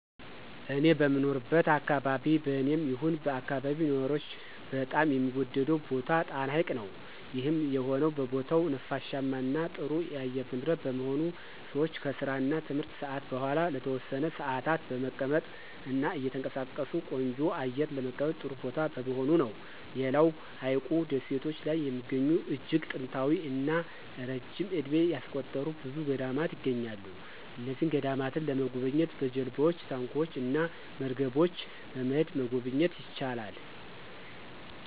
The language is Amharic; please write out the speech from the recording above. እኔ በምኖርበት አከባቢ በኔም ይሁን በአከባቢው ነዋሪዎች በጣም የሚወደደው ቦታ ጣና ሀይቅ ነው። ይህም የሆነው ቦታው ነፋሻማ እና ጥሩ የአየር ንብረት በመሆኑ ሰወች ከስራ እና ትምህርት ሰአት በኋላ ለተወሰነ ሰአታት በመቀመጥ እና እየተንቀሳቀሱ ቆንጆ አየር ለመቀበል ጥሩ ቦታ በመሆኑ ነው። ሌላው በሀይቁ ደሴቶች ላይ የሚገኙ እጅግ ጥንታዊ እና ረጅም እድሜ ያስቆጠሩ ብዙ ገዳማት ይገኛሉ። እነዚህን ገዳማት ለመጎብኘት በጀልባወች፣ ታንኳወች እና መርገቦች በመሄድ መጎብኘት ይቻላል።